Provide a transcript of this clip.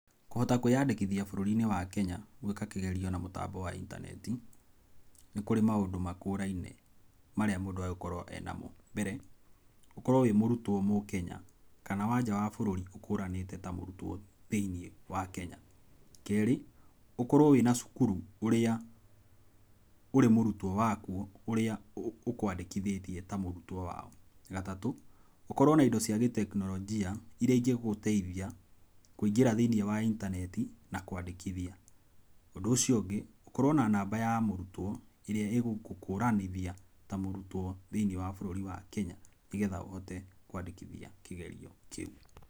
Kũhota kwĩyandĩkithia bũrũri-inĩ wa Kenya, gwĩka kĩgerio na mũtambo wa intaneti, nĩ kũrĩ maũndũ makũraine marĩa mũndũ agĩrĩirũo gũkorwo e namo. Mbere, ũkorwo wĩ mũrũtwo mũkenya, kana wa nja wa bũrũri ũkũranĩte ta mũrũtwo thĩiniĩ wa Kenya. Kerĩ, ũkorwo wĩna cũkũrũ ũrĩa ũrĩ mũrũtwo wakũo, ũrĩa ũkwandĩkithĩtie ta mũrũtwo wao. Gatatũ, ũkorwo na indo cia gĩtekinolonjia irĩa ingĩgũteithia kũingĩra thĩiniĩ wa intaneti na kwandĩkithia. Ũndũ ũcio ũngĩ, ũkorwo na namba ya mũrũtwo ĩrĩa ĩgũgũkũranithia ta mũrũtwo thĩiniĩ wa bũrũri wa Kenya, nĩgetha ũhote kwandĩkithia kĩgerio kĩũ.